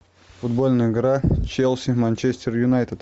футбольная игра челси манчестер юнайтед